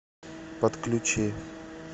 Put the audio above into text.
подключи